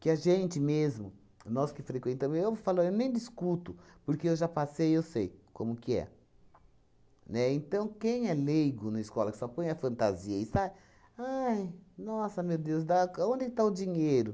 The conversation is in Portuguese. Que a gente mesmo, nós que frequentamos... Eu falo eu nem discuto, porque eu já passei eu sei como que é, né? Então, quem é leigo na escola, que só põe a fantasia e sai... Ai, nossa, meu Deus, da ca onde está o dinheiro?